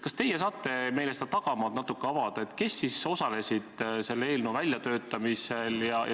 Kas teie saate meile seda tagamaad natukene avada, kes siis osalesid selle eelnõu väljatöötamisel?